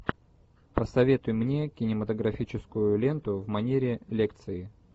посоветуй мне кинематографическую ленту в манере лекции